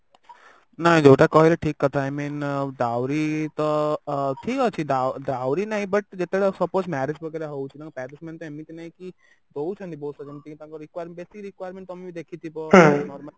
ନାଇଁ ଯୋଉଟା କହିଲ ଠିକ କଥା i mean dowry ତ ଅ ଠିକ ଅଛି Down dowry ନାହିଁ but ଯେତେବେଳେ suppose marriage wagera ହଉଛି ତାଙ୍କ parents ମାନେ ଏମିତି ନାଇଁ କି ଦଉଛନ୍ତି ବହୁତସାର ଯେମିତି କି ତାଙ୍କ Requirement ଯେତିକି Requirement ତମେ ଭି ଦେଖିଥିବ